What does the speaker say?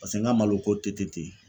Paseke n ka maloko tɛ tɛ ten.